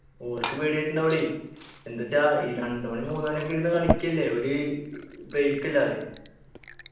ഓർക്ക് പേടിയായിട്ടുണ്ടാവോളി എന്ത്ച്ച ഈ രണ്ടു മണി മൂന്നുമണിയൊക്കെ ഇരുന്നു കളിക്കല്ലേ ഒര് break ഇല്ലാതെ